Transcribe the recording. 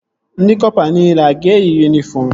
Ndị kọpa nile a ga-eyi yunifọm?